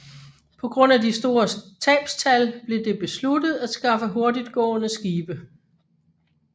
På grund af de store tabstal blev det besluttet at skaffe hurtigtgående skibe